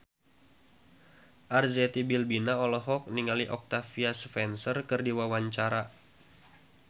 Arzetti Bilbina olohok ningali Octavia Spencer keur diwawancara